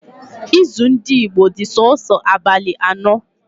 Izu ndị Igbo dị sọọsọ abalị ano